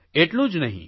એટલું જ નહિં